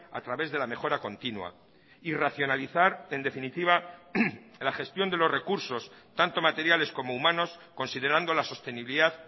a través de la mejora continua y racionalizar en definitiva la gestión de los recursos tanto materiales como humanos considerando la sostenibilidad